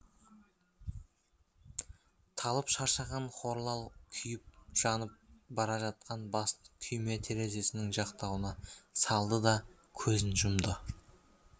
талып шаршаған хорлал күйіп жанып бара жатқан басын күйме терезесінің жақтауына салды да көзін жұмды